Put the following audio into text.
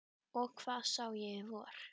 Og hvað sá ég í vor?